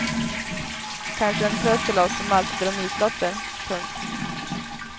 Kanske en tröst till oss som alltid drar nitlotter. punkt